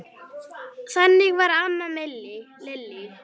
Þannig var amma Lillý.